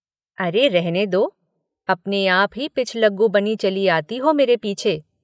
अरे रहने दो अपने आप ही पिछलग्गू बनी चली आती हो मेरे पीछे।